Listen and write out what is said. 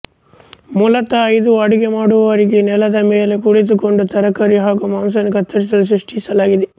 ಮೂಲತಃ ಇದು ಅಡುಗೆ ಮಾಡುವವರಿಗಾಗಿ ನೆಲದ ಮೇಲೆ ಕುಳಿತುಕೊಂಡು ತರಕಾರಿ ಹಾಗೂ ಮಾಂಸವನ್ನು ಕತ್ತರಿಸಲು ಸೃಷ್ಟಿಸಲಾಗಿದೆ